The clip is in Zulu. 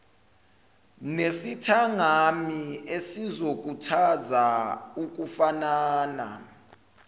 nesithangami esizokhuthaza ukufanana